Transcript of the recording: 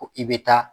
Ko i bɛ taa